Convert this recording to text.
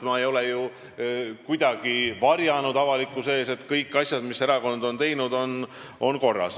Ma ei ole ju avalikkuse ees midagi varjanud ega öelnud, et kõikide erakonna tehtud asjadega on kõik korras.